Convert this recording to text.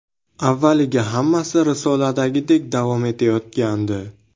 Avvaliga hammasi risoladagidek davom etayotgandi.